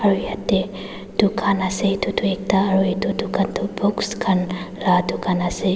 aru yatae dukan ase edu tu ekta aro edu dukan toh books laka dukan ase.